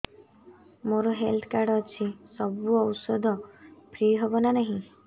ମୋର health card ଅଛି ସବୁ ଔଷଧ ଫ୍ରି ହବ ନା ନାହିଁ